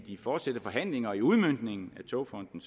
de fortsatte forhandlinger om udmøntningen af togfonden